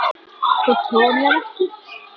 Þú trúir mér ekki?